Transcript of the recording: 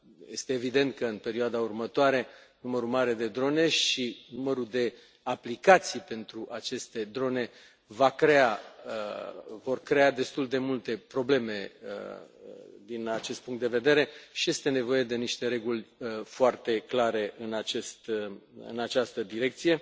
Este evident că, în perioada următoare, numărul mare de drone și numărul de aplicații pentru aceste drone vor crea destul de multe probleme din acest punct de vedere și este nevoie de niște reguli foarte clare în această direcție.